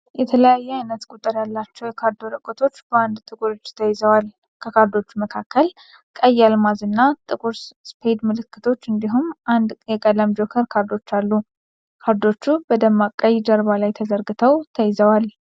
የተለያየ አይነት ቁጥር ያላቸው የካርድ ወረቀቶች በአንድ ጥቁር እጅ ተይዘዋል። ከካርዶቹ መካከል ቀይ አልማዝ እና ጥቁር ስፔድ ምልክቶች እንዲሁም አንድ የቀለም ጆከር ካርድ አሉ። ካርዶቹ በደማቅ ቀይ ጀርባ ላይ ተዘርግተው ተይዘዋል።